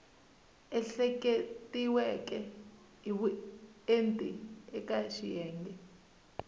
ehleketiweke hi vuenti eka xiyenge